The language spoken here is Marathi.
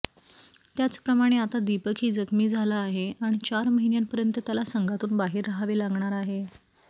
त्याचप्रमाणे आता दीपकही जखमी झाला आहे आणि चार महिन्यांपर्यंत त्याला संघातून बाहेर राहावे लागणार आहे